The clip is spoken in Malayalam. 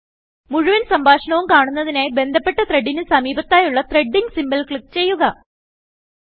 മുഴുവൻ സംഭാഷണവും കാണുന്നതിനായി ബന്ധപെട്ട ത്രെഡ് ന് സമീപത്തായുള്ള ത്രെഡിംഗ് symbolക്ലിക്ക് ചെയ്യുക